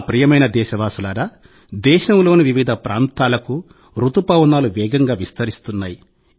నా ప్రియమైన దేశవాసులారా దేశంలోని వివిధ ప్రాంతాలకు రుతుపవనాలు వేగంగా విస్తరిస్తున్నాయి